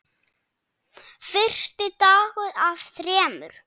Fyrsti dagur af þremur.